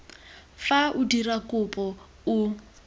fa o dira kopo o